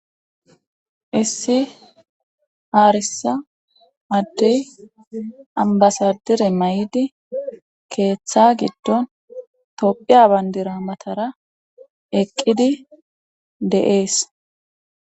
issi haarisa addey ambasadire may7idi keeththa giddon tophiya bandira matara eqqidi de7ees